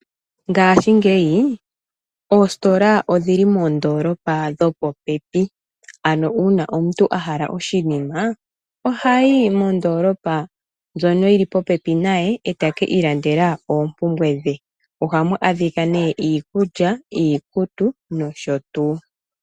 Ngaashi ngeyi, oositola odhili moondoolopa dhopopepi, ano uuna omuntu ahala oshinima, oha yi mondoolopa ndjono yili popepi naye ete kiilandela oopumbwe dhe. Oha mu adhika nee: iikulya, iikutu, nosho tuu.